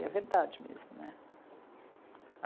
E é verdade mesmo, né?